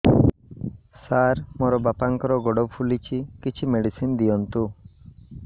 ସାର ମୋର ବାପାଙ୍କର ଗୋଡ ଫୁଲୁଛି କିଛି ମେଡିସିନ ଦିଅନ୍ତୁ